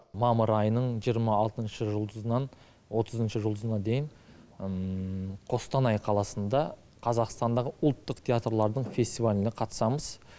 мамыр айының жиырма алтыншы жұлдызынан отызыншы жұлдызына дейін қостанай қаласында қазақстандағы ұлттық театрлардың фестиваліне қатысамыз